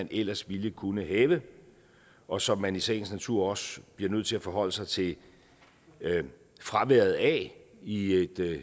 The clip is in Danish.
ellers ville kunne have og som man i sagens natur også bliver nødt til at forholde sig til fraværet af i et